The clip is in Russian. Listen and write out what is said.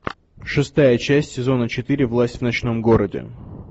шестая часть сезона четыре власть в ночном городе